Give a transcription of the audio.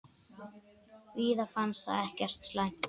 Víði fannst það ekkert slæmt.